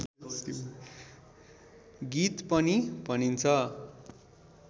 गीत पनि भनिन्छ